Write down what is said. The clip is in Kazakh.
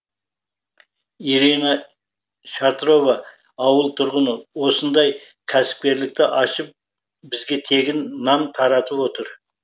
ирина шатрова ауыл тұрғыны осындай кәсіпкерлікті ашып бізге тегін нан таратып отыр